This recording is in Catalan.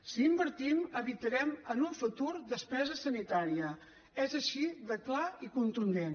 si hi invertim evitarem en un futur despesa sanitària és així de clar i contundent